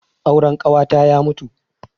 Auren ƙawata ya mutu.